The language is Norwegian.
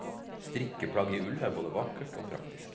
Strikkeplagg i ull er både vakkert og praktisk.